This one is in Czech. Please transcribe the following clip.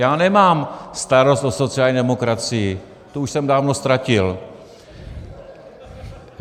Já nemám starost o sociální demokracii, tu už jsem dávno ztratil.